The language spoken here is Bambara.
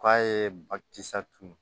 K'a ye ba kisɛ tun